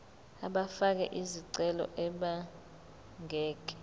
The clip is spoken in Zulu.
abafake izicelo abangeke